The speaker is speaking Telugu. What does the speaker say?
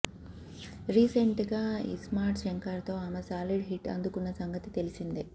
రీసెంట్ గా ఇస్మార్ట్ శంకర్ తో ఆమె సాలిడ్ హిట్ అందుకున్న సంగతి తెలిసిందే